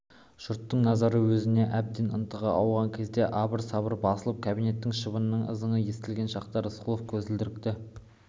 жұрттың назары өзіне әбден ынтыға ауған кезде абыр-сабыр басылып кабинетте шыбынның ызыңы естілген шақта рысқұлов көзілдірікті